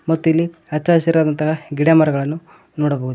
ಮತ್ತು ಇಲ್ಲಿ ಹಚ್ಚ ಹಸಿರದಂತಹ ಗಿಡ ಮರಗಳನ್ನು ನೋಡಬಹುದು.